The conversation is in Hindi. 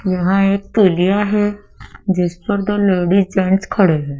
यहां एक पुलिया है जिस पर दो लेडिस जेंट्स खड़े हैं।